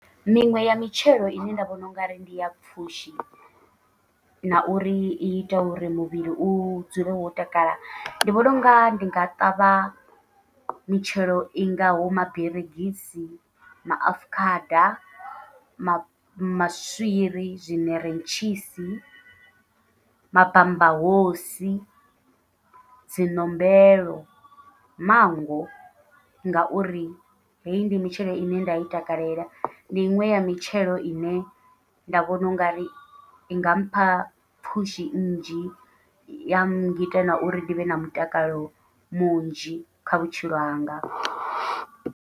Miṅwe ya mitshelo ine nda vhona ungari ndi ya pfhushi, na uri iita uri muvhili u dzule wo takala ndi vhona unga ndi nga ṱavha mitshelo i ngaho maberegisi, maafukhada, ma maswiri, zwiṋeretshisi, mabambahosi, dzi ṋombelo, mango ngauri heyi ndi mitshelo ine nda i takalela ndi iṅwe ya mitshelo ine nda vhona ungari inga mpha pfhushi nnzhi, ya ngita na uri ndi vhe na mutakalo munzhi kha vhutshilo hanga.